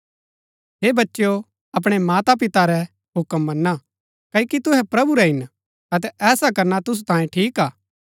हे बच्चेओ अपणै माता पिता रै हुक्म मना क्ओकि तुहै प्रभु रै हिन अतै ऐसा करना तुसु तांये ठीक हा